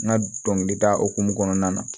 N ka dɔnkilida hokum kɔnɔna na